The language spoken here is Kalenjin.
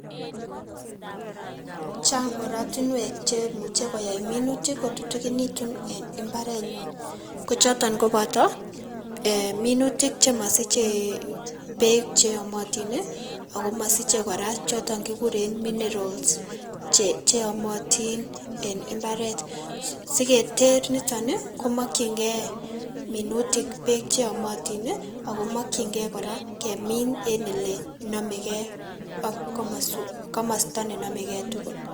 Chang' oratinuek chemuche koyai minutik kotutukinitun en mbarenyun kochoton koboto minutik chemosiche beek cheyomotin ii ako mosiche kora choton chekikuren minerals cheomotin en mbaret. Siketer niton ii komokyingei minutik beek cheyomotin ako mokyingei kora kemin en olenomegei ak komos komosto nenomegei tugul.